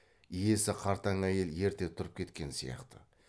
иесі қартаң әйел ерте тұрып кеткен сияқты